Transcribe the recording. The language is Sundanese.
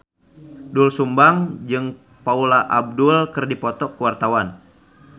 Doel Sumbang jeung Paula Abdul keur dipoto ku wartawan